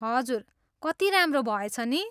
हजुर! कति राम्रो भएछ नि?